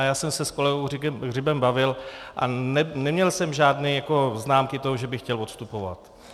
A já jsem se s kolegou Hřibem bavil a neměl jsem žádné známky toho, že by chtěl odstupovat.